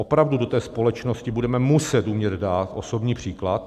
Opravdu do té společnosti budeme muset umět dát osobní příklad.